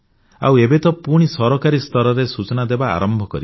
ଆଉ ଏବେ ତ ମୁଁ ପୁଣି ସରକାରୀ ସ୍ତରରେ ସୂଚନା ଦେବା ଆରମ୍ଭ କରିଛି